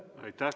Aitäh!